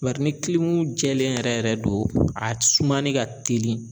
Bari ni kilimu jɛlen yɛrɛ yɛrɛ do a sumani ka teli